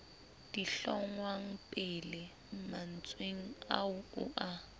dihlongwapele mantsweng ao o a